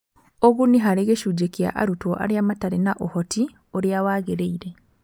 Ũguni harĩ gĩcunjĩ kĩa arutwo arĩa matarĩ na ũhoti ũrĩa wagĩrĩire.